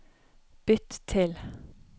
bytt til